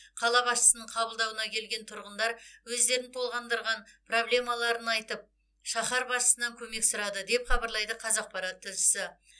қала басшысының қабылдауына келген тұрғындар өздерін толғандырған проблемаларын айтып шаһар басшысынан көмек сұрады деп хабарлайды қазақпарат тілшісі